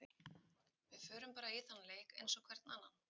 Við förum bara í þann leik eins og hvern annan.